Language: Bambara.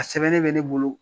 A sɛbɛnnen bɛ ne bolo